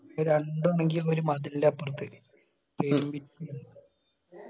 അത് രണ്ടു ആണെന്കി ഒരു മതിലിന്റെ അപ്രത്